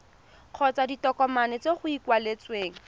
kgotsa ditokomane tse go ikaeletsweng